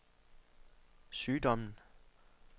sygdommen